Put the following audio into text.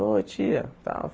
Ô, tia, tal?